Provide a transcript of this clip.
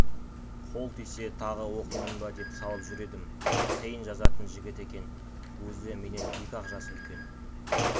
қол тисе тағы оқимын ба деп салып жүр едім қиын жазатын жігіт екен өзі менен екі-ақ жас үлкен